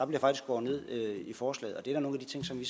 bliver skåret ned i forslaget og det er da nogle af de ting som vi